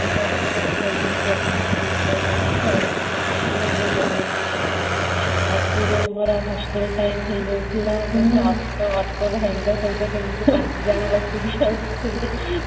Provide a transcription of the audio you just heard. burger ନା cold drinks ପିଇଥିଲେ ସେମିତି ଆଉ ରାତିରେ ଆମର hostel time ହେଇଯାଇଥିଲା ଜଣେ auto auto ଭାଇଙ୍କ ସହିତ କେମିତି ପାଞ୍ଚଜଣ ବସିକି ଆସିଥିଲୁ